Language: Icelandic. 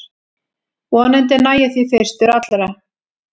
Vonandi næ ég því fyrstur allra